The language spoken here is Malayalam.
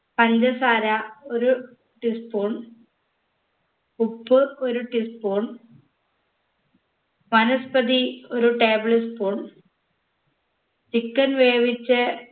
പഞ്ചസാര ഒരു tea spoon ഉപ്പ് ഒരു tea spoon വനസ്പതി ഒരു table spoon chicken വേവിച്ചെ